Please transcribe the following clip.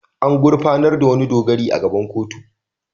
An gurfanar da wani dogari a gaban kotu.